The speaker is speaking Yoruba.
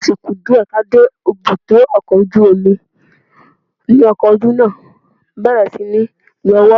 Bí ó ti ku díẹ̀ kí a dé ibùdó ọkọ̀ ojú omi ni ọkọ ojú náà bẹ̀rẹ̀ síní yọwọ́